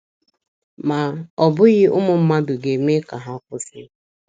Ma, ọ bụghị ụmụ mmadụ ga - eme ka ha kwụsị.